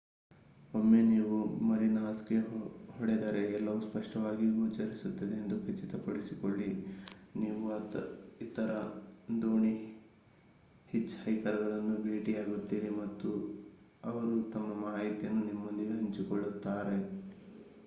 ಒಮ್ಮೆ ನೀವು ಮರಿನಾಸ್‌ಗೆ ಹೊಡೆದರೆ ಎಲ್ಲವೂ ಸ್ಪಷ್ಟವಾಗಿ ಗೋಚರಿಸುತ್ತದೆ ಎಂದು ಖಚಿತಪಡಿಸಿಕೊಳ್ಳಿ. ನೀವು ಇತರ ದೋಣಿ ಹಿಚ್‌ಹೈಕರ್‌ಗಳನ್ನು ಭೇಟಿಯಾಗುತ್ತೀರಿ ಮತ್ತು ಅವರು ತಮ್ಮ ಮಾಹಿತಿಯನ್ನು ನಿಮ್ಮೊಂದಿಗೆ ಹಂಚಿಕೊಳ್ಳುತ್ತಾರೆ